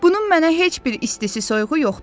"Bunun mənə heç bir istisi-soyuğu yoxdur.